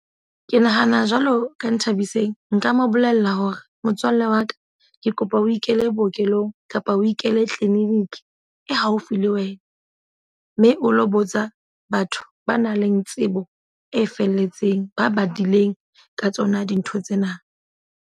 Ke nahana jwalo ka Nthabiseng. Nka mo bolella hore motswalle wa ka ke kopa o ikele bookelong kapa o ikele clinic e haufi le wena. Mme o lo botsa batho ba nang le tsebo e felletseng. Ba badileng ka tsona dintho tsena.